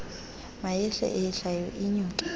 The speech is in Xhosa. mayehle eyehlayo inyuke